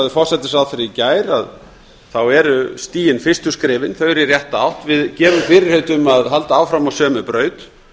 forsætisráðherra í gær eru stigin fyrstu skrefin þau eru í rétta átt við gefum fyrirheit um að halda áfram á sömu braut